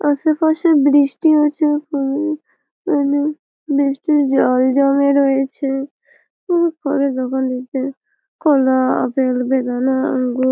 আশেপাশে বৃষ্টি হচ্ছে প্রচুর এখানে বৃষ্টির জল জমে রয়েছে ফলের দোকান টিতে কলা আপেল বেদানা আঙ্গুর--